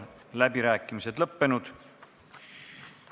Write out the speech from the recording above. Läbirääkimised on lõppenud.